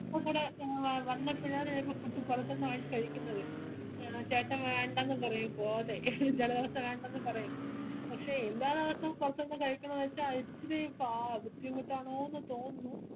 ഇപ്പോകൂടേ ഏ വന്നേ പിള്ളേർ വരുമ്പോ കുറച് പൊറത്തൂന്ന് വാങ്ങി കഴിക്കുന്നത് ചേട്ടൻ വേണ്ട ന്നു പറയും ചെല ദിവസം വേണ്ടാന്ന് പറയും പക്ഷെ എല്ലാ ദിവസോം പോർത്തുന്ന് കഴിക്കണോന്ന് വച്ച അത് ഇച്ചിരി കാ ബുദ്ധിമുട്ട് ആണോന്ന് തോന്നുന്നു